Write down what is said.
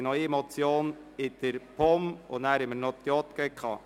Wir haben noch eine Motion der POM und anschliessend die Geschäfte der JGK zu beraten.